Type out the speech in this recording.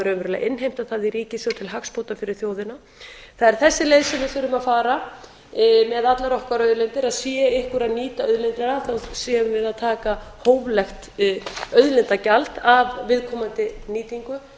raunverulega innheimta það í ríkissjóð til hagsbóta fyrir þjóðina það er þessi leið sem við þurfum að fara með allar okkar auðlindir að sé einhver að nýta auðlindina séum við að taka hóflegt auðlindagjald af viðkomandi nýtingu